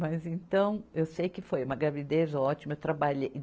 Mas, então, eu sei que foi uma gravidez ótima. eu trabalhei